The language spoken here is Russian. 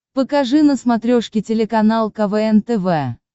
покажи на смотрешке телеканал квн тв